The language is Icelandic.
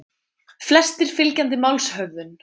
Flestir fylgjandi málshöfðun